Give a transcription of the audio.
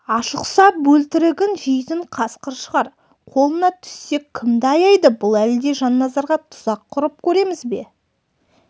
ашықса бөлтірігін жейтін қасқыр шығар қолына түссек кімді аяйды бұл әлде жанназарға тұзақ құрып көреміз бе